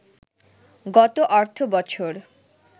গত অর্থবছর